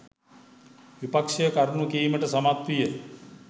විපක්‍ෂය කරුණු කීමට සමත් විය.